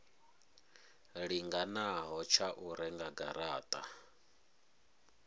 linganaho tsha u renga garata